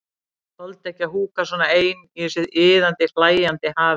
Þoldi ekki að húka svona ein í þessu iðandi, hlæjandi hafi.